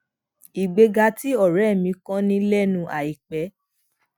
ìgbéga tí òré mi kan ní lénu àìpé